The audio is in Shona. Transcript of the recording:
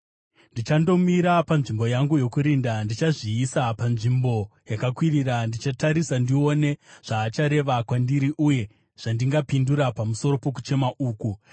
Ndichandomira panzvimbo yangu yokurinda ndichazviisa panzvimbo yakakwirira; ndichatarisa ndione zvaachareva kwandiri uye zvandingapindura pamusoro pokuchema uku.